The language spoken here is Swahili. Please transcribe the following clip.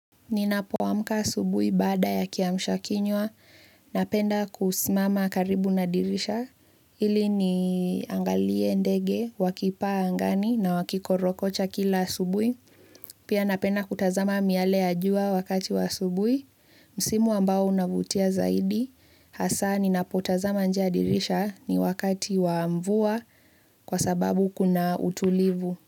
Ninapoamka asubuhi baada ya kiamshakinywa, napenda kusimama karibu na dirisha, ili niangalie ndege, wakipaa angani na wakikorokocha kila asubuhi. Pia napenda kutazama miale ya jua wakati wa asubuhi, msimu ambao unavutia zaidi, hasa ninapotazama nje ya dirisha ni wakati wa mvua kwa sababu kuna utulivu.